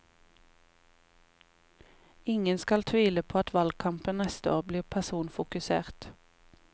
Ingen skal tvile på at valgkampen neste år blir personfokusert.